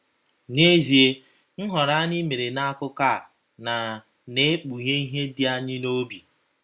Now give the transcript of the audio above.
N’ezie, nhọrọ anyị mere n’akụkụ a na na - ekpughe ihe dị anyị n’obi.